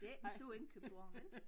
Det ikke en stor indkøbsvogn vel